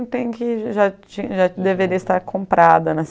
tem que, já tinha já deveria estar comprada, né?